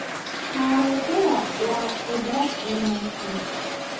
Karootada waa khudrad wanaagsan.